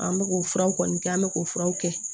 An bɛ k'o furaw kɔni kɛ an bɛ k'o furaw kɛ